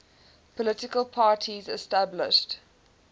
political parties established